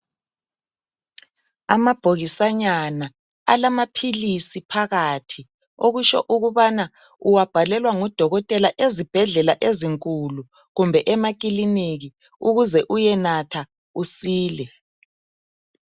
Amabhokisanyana alamaphilisi phakathi, okutsho ukubana uwabhalelwa ngudokotela ezibhedlela ezinkulu kumbe emakilinika ukuze uyenatha usile.